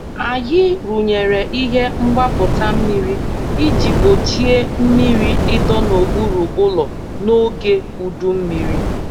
Anyị rụnyere ihe mgbapụta mmiri iji gbochie mmiri ịdọ n'okpuru ụlọ n'oge udu mmiri.